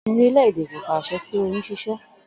Òfin orílè̩-èdè Nàìjíríà kò fi às̩e̩ sí oyún s̩ís̩é̩